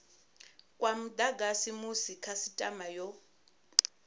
kwa mudagasi musi khasitama yo